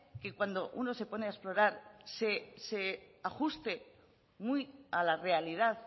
que cuando uno se pone a explorar se ajuste muy a la realidad